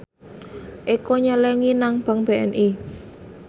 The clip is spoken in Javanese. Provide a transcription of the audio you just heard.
Eko nyelengi nang bank BNI